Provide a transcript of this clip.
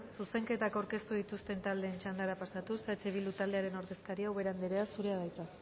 zuzenketak aurkeztu dituzten taldeen txandara pasatuz eh bildu taldearen ordezkaria ubera anderea zurea da hitza